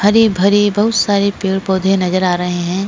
हरे भरे बहुत सारे पेड़ पौधे नजर आ रहे हैं।